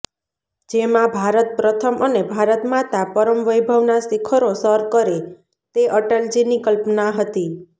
જેમાં ભારત પ્રથમ અને ભારતમાતા પરમ વૈભવના શિખરો સર કરે તે અટલજીની કલ્પના હતી